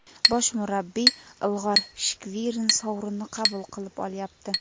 Bosh murabbiy Igor Shkvirin sovrinni qabul qilib olyapti.